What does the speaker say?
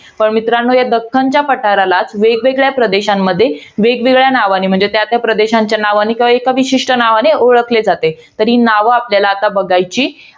पण मित्रांनो, या दक्खनच्या पठरालाच वेगवेगळ्या प्रदेशांमध्ये, वेगवेगळ्या नावांनी, म्हणजे, त्या त्या प्रदेशांच्या नावानी किंवा एका विशिष्ट नावाने ओळखले जाते. तर ही नावं आता आपल्याला बघायची